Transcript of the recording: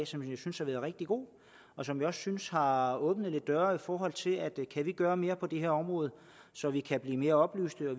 som jeg synes har været rigtig god og som jeg synes har har åbnet lidt døre i forhold til at vi kan gøre mere på det her område så vi kan blive mere oplyste og